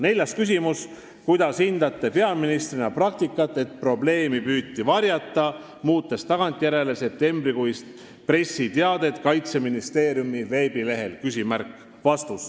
Neljas küsimus: "Kuidas hindate peaministrina praktikat, et probleemi püüti varjata, muutes tagantjärgi septembrikuist pressiteadet Kaitseministeeriumi veebilehel?